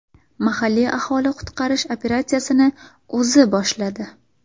Mahalliy aholi qutqarish operatsiyasini o‘zi boshladi.